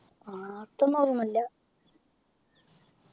ആഹ് തൊന്നും ഓർമ്മയില്ല